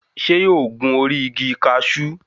Ṣé yóò gun orí igi kaṣú?